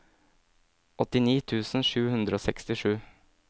åttini tusen sju hundre og sekstisju